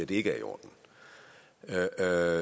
det ikke er i orden der